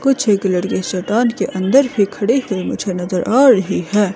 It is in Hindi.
कुछ एक लड़के शैतान के अंदर ही खड़े हुए मुझे नजर आ रही है।